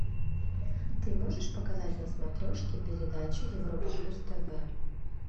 ты можешь показать на смотрешке передачу европа плюс тв